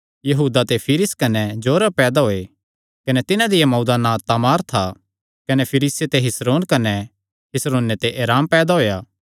यहूदा कने तिसदिया लाड़िया तामारा ते फिरिस कने जोरह फिरिसे ते हिस्रोन कने हिस्रोने ते एराम पैदा होएया